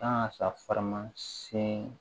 Kan ka sa farima sɛn